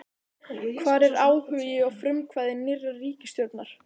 Hvar er áhugi og frumkvæði nýrrar ríkisstjórnar?